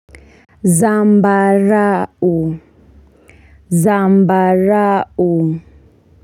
Zambarau Zambarau.